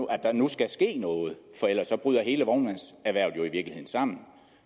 at der nu skal ske noget for ellers bryder hele vognmandserhvervet jo i virkeligheden sammen